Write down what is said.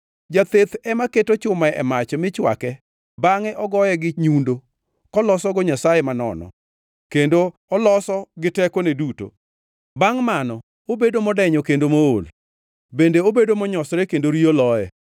Jatheth ema keto chuma e mach mi chwakre bangʼe ogoye gi nyundo, kolosogo nyasaye manono, kendo oloso gi tekone duto. Bangʼ mano obedo modenyo kendo mool; bende obedo monyosore kendo riyo loye.